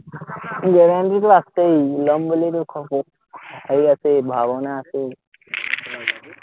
টোতো আছেই, লম বুলিতো আৰু আছেই, ভাৱনা আছেই